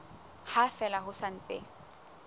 ha fela ho sa ntse